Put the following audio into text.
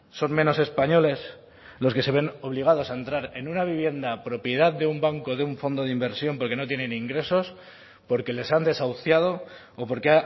son menos españoles los que se ven obligados a entrar en una vivienda propiedad de un banco o de un fondo de inversión porque no tienen ingresos porque les han desahuciado o porque